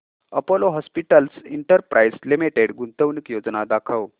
Apollo hospitals enterprise limited गुंतवणूक योजना दाखव